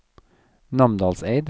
Namdalseid